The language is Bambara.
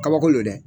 Kabako don dɛ